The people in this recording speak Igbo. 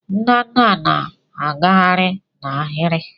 ndanda na-agagharị n'ahịrị.